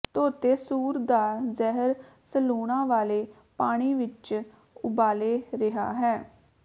ਧੋਤੇ ਸੂਰ ਦਾ ਜਿਗਰ ਸਲੂਣਾ ਵਾਲੇ ਪਾਣੀ ਵਿੱਚ ਉਬਾਲੇ ਰਿਹਾ ਹੈ